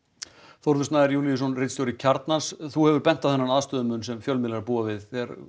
Þórður Snær Júlíusson ritstjóri Kjarnans þú hefur bent á þennan aðstöðumun sem fjölmiðlar búa við þegar